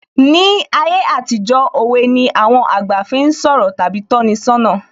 Ní ayé àtijó, òwe ni àwọn àgbà fi ń sọ̀rọ̀ tàbí tọ́ni ṣọ́nà